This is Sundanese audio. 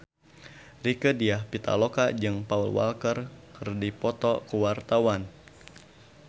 Rieke Diah Pitaloka jeung Paul Walker keur dipoto ku wartawan